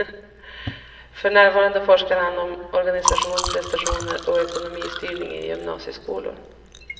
För närvarande forskar han om organisation, prestationer och ekonomistyrning i gymnasieskolor.